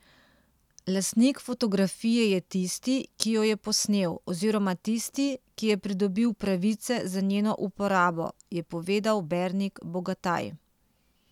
Lastnik fotografije je tisti, ki jo je posnel, oziroma tisti, ki je pridobil pravice za njeno uporabo, je povedal Bernik Bogataj.